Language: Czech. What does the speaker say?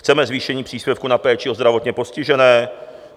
Chceme zvýšení příspěvku na péči o zdravotně postižené.